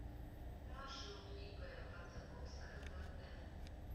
маршрут ип водзаковская вн